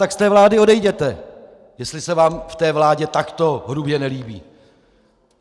Tak z té vlády odejděte, jestli se vám v té vládě takto hrubě nelíbí!